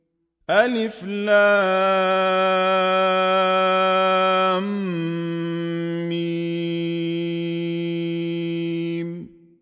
الم